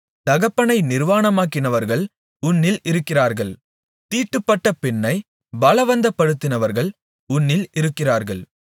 தகப்பனை நிர்வாணமாக்கினவர்கள் உன்னில் இருக்கிறார்கள் தீட்டுப்பட்ட பெண்ணை பலவந்தப்படுத்தினவர்கள் உன்னில் இருக்கிறார்கள்